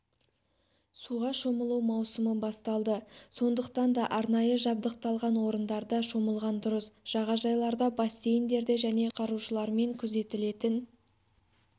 суға шомылу маусымы басталды сондықтан да арнайы жабдықталған орындарда шомылған дұрыс жағажайларда бассейндерде және құтқарушылармен күзетілетін